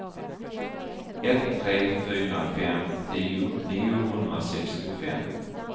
ett tre fyra fem tio niohundrasextiofem